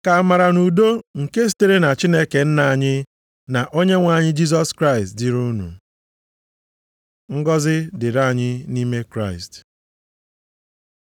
Ka amara na udo nke sitere na Chineke Nna anyị, na Onyenwe anyị Jisọs Kraịst dịrị unu. Ngọzị dịrị anyị nʼime Kraịst